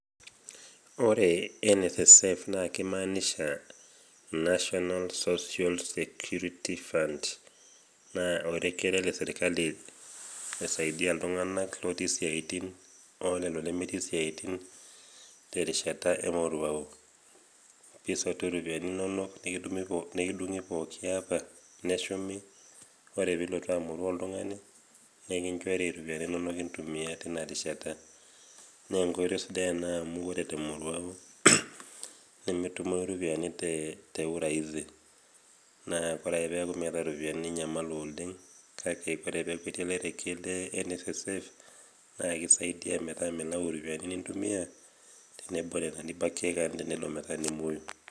Ore NSSF naa keimanisha national social security funds naa orekie ele le sirkali pee eisaidia iltung'ana otii isiaitin o lelo lemetii isiaitin te erishata e moruao. Nisotu iropiani inono nikidung'i pooki niata neshumi. Ore pee ilotu amoruao oltung'ani, nikinchori iropiani inono intumia teina rishata. Naa enkoitoi sidai ena amu ore te emoruao netumoyu iropiani te urahisi . Naa ore ake pee miatau iropiani ninyamalu oleng', kale ore peaku etii orekie le NSSF naa keisaidia metaa milayu iropiani nintumia tenebo Nena nobakoe kaan tenelo metaa nimwoyu.